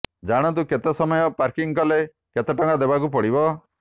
ଜାଣନ୍ତୁ କେତେ ସମୟ ପାର୍କିଂ କଲେ କେତେ ଟଙ୍କା ଦେବାକୁ ପଡ଼ିବ